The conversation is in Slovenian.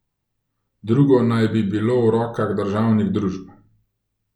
Drugo naj bi bilo v rokah državnih družb.